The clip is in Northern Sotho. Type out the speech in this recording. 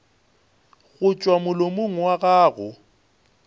go tšwa molomong wa gago